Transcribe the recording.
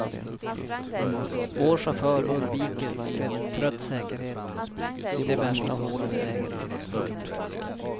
Vår chaufför undviker med trött säkerhet de värsta hålen i vägen. punkt